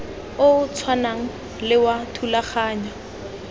o tshwanang le wa thulaganyo